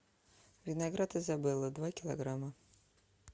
виноград изабелла два килограмма